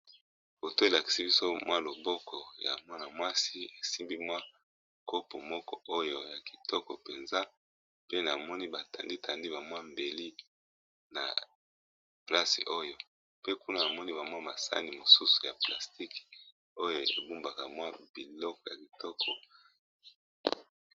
Foto oyo elakisi biso mwa loboko ya mwana-mwasi esimbi mwa kopo moko oyo ya kitoko mpenza. Pe namoni batandi tandi bamwa mbeli na place oyo, pe kuna namoni bamwa masani mosusu ya plastike oyo ebumbaka mwa biloko ya kitoko.